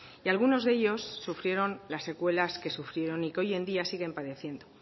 y algunos de ellos sufrieron las secuelas que sufrieron y que hoy en día siguen padeciendo